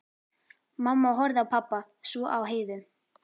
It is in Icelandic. Mamma horfði á pabba, svo á Heiðu.